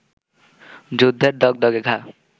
যুদ্ধের দগদগে ঘা